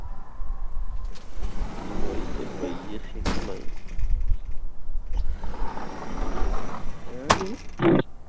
ਦਵਾਈ ਤਾਂ ਪਈ ਹੈ ਹੈਂ